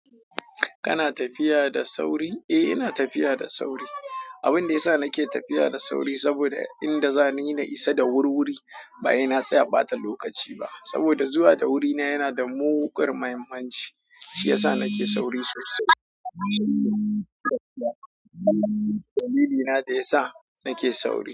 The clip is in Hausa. Kana tafiya da sauri? Eh ina tafiya da sauri. Abin da yasa nake tafiya da sauri saboda inda zani na isa da wurwuri. Ba sai na tsaya ɓata lokaci ba, saboda zuwa da wuri na yana da muguwar muhimmanci, shi yasa nake sauri sosai. Dalilina da yasa nake sauri.